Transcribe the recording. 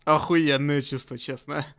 ахуенные честно-честно